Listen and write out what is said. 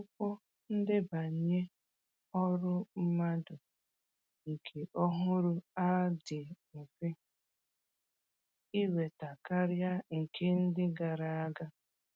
Akwụkwọ ndebanye ọrụ mmadụ nke ọhụrụ a dị mfe ịnweta karịa nke ndị gara aga